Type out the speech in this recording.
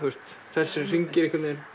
þessir hringir